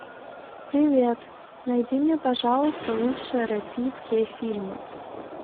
привет найди мне пожалуйста лучшие российские фильмы